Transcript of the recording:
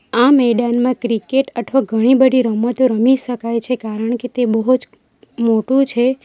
આ મેદાનમાં ક્રિકેટ અથવા ઘણી બધી રમતો રમી શકાય છે કારણ કે તે બહુ જ મોટુ છે.